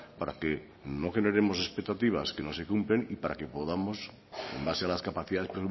para que no generemos expectativas que no se cumplen y para que podamos en base a las capacidades